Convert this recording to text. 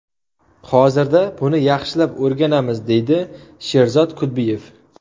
Hozirda buni yaxshilab o‘rganamiz”, deydi Sherzod Kudbiyev.